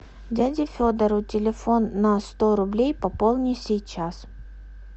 дяде федору телефон на сто рублей пополни сейчас